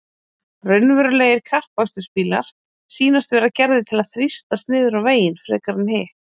Raunverulegir kappakstursbílar sýnast vera gerðir til að þrýstast niður á veginn frekar en hitt.